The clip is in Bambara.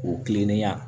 O kilennenya